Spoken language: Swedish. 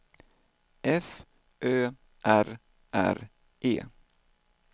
F Ö R R E